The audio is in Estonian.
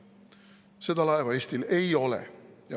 Seda laeva Eestil ei ole.